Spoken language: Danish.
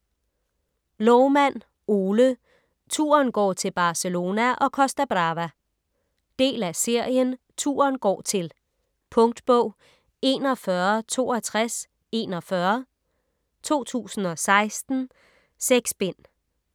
Loumann, Ole: Turen går til Barcelona & Costa Brava Del af serien Turen går til. Punktbog 416241 2016. 6 bind.